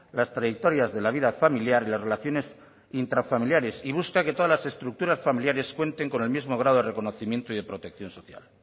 las trayectorias de la vida familiar y las relaciones intrafamiliares y busca que todas las estructuras familiares cuenten con el mismo grado de reconocimiento y de protección social